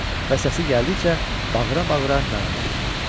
Və səsi gəldikcə bağıra-bağıra nəğmə oxudu.